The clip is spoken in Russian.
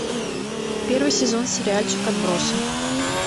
первый сезон сериальчик отбросы